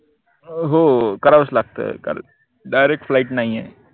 अं हो करावंच लागते कारन direct flight नाई ए